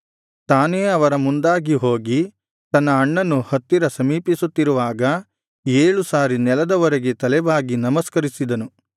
ತಾನೇ ಅವರ ಮುಂದಾಗಿ ಹೋಗಿ ತನ್ನ ಅಣ್ಣನು ಹತ್ತಿರ ಸಮೀಪಿಸುತ್ತಿರುವಾಗ ಏಳು ಸಾರಿ ನೆಲದವರೆಗೆ ತಲೆಬಾಗಿ ನಮಸ್ಕರಿಸಿದನು